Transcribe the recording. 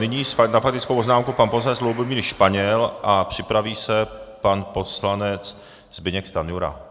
Nyní na faktickou poznámku pan poslanec Lubomír Španěl a připraví se pan poslanec Zbyněk Stanjura.